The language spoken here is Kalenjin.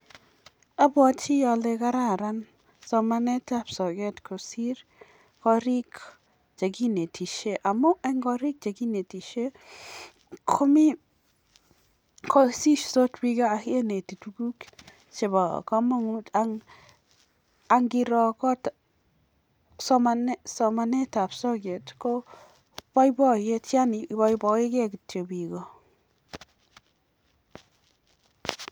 apwatii alee kararan somanet ap soyoot kosiir koriik chekinetishee ako somanett ap soyoot kopaipaipaitipiik